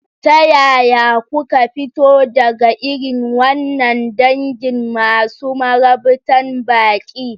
Ta yaya kuka fito daga irin wannan dangin masu marabtan baƙi?